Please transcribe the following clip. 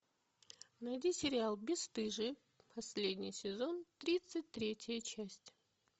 найди сериал бесстыжие последний сезон тридцать третья часть